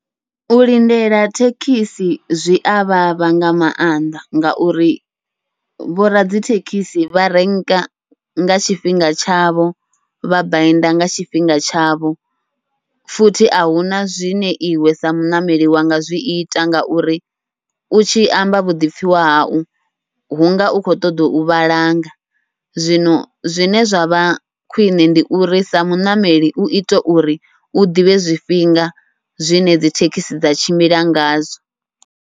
U lindela thekhisi zwia vhavha nga maanḓa, ngauri vhoradzithekhisi vha renka nga tshifhinga tshavho vha bainda nga tshifhinga tshavho futhi ahuna zwine iwe sa muṋameli wa nga zwiita. Ngauri u tshi amba vhuḓipfhiwa hau hunga u khou ṱoḓa u vhalanga, zwino zwine zwa vha khwiṋe ndi uri sa muṋameli uite uri u ḓivhe zwifhinga zwine dzi thekhisi dza tshimbila ngazwo.